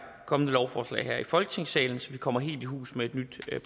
kommende lovforslag her i folketingssalen så vi kommer helt i hus med et nyt